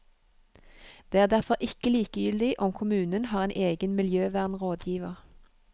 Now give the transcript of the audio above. Det er derfor ikke likegyldig om kommunen har en egen miljøvernrådgiver.